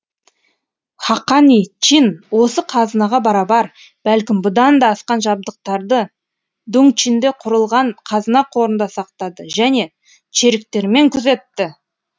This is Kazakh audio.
хақани чин осы қазынаға барабар бәлкім бұдан да асқан жабдықтарды дуңчинде құрылған қазына қорында сақтады және чериктерімен күзетті